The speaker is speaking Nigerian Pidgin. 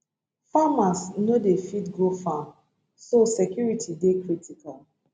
farmers no dey fit go farm so security dey critical